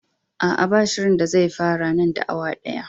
Aa, ba shirinda zai fara nan da awa daya.